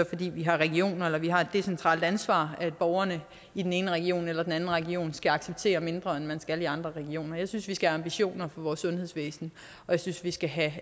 fordi vi har regioner eller vi har et decentralt ansvar at borgerne i den ene region eller den anden region skal acceptere mindre end man skal i andre regioner jeg synes vi skal have ambitioner for vores sundhedsvæsen og jeg synes vi skal have